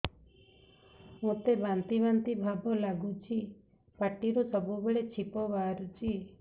ମୋତେ ବାନ୍ତି ବାନ୍ତି ଭାବ ଲାଗୁଚି ପାଟିରୁ ସବୁ ବେଳେ ଛିପ ବାହାରୁଛି